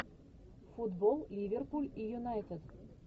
футбол ливерпуль и юнайтед